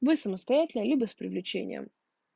мы самостоятельно либо с привлечением